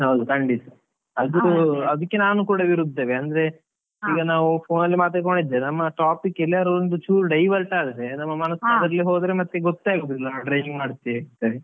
ಹೌದು ಖಂಡಿತಾ, ಅದಕ್ಕೆ ನಾನು ಕೂಡ ವಿರುದ್ಧವೇ ಅಂದ್ರೆ ನಾವು phone ಅಲ್ಮಾತಾಡ್ಕೊಂಡು ಇದ್ರೆ ನಮ್ಮ topic ಎಲ್ಲಾರು ಒಂದುಚೂರು divert ಆದ್ರೆ ನಮ್ಮ ಮನಸು ಹೋದ್ರೆ ಮತ್ತೆ ಗೊತ್ತೇ ಆಗುದಿಲ್ಲ ನಾವು driving ಮಾಡ್ತಿದ್ದೇವೆ ಅಂತೇಳಿ.